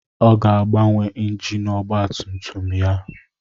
Ọ ga-agbanwe injin ọgba tum tum ya.